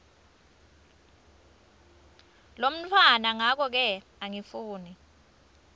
lomntfwana ngakoke angifuni